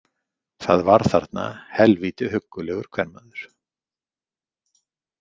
Það var þarna helvíti huggulegur kvenmaður.